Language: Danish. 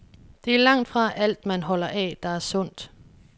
Det er langtfra alt, man holder af, der er sundt.